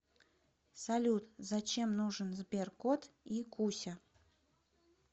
салют зачем нужен сберкот и куся